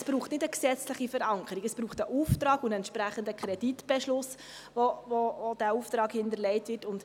Es braucht keine gesetzliche Verankerung, es braucht einen Auftrag und einen entsprechenden Kreditbeschluss, wodurch dieser Auftrag hinterlegt wird.